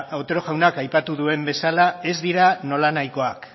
otero jaunak aipatu duen bezala ez dira nolanahikoak